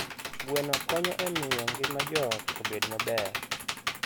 Gweno konyo e miyo ngima joot obed maber.